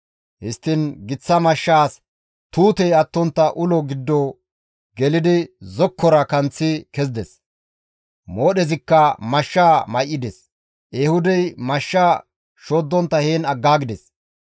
Histtiin giththa mashshaas tuutey attontta ulo giddo gelidi zokkora kanththi kezides; moodhezikka mashshaa may7ides; Ehuudey mashshaa shoddontta heen aggaagides.